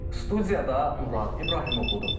Studiyada Murad İbrahimoğludur.